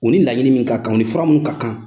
U ni laɲini min ka kan, u ni fura min ka kan.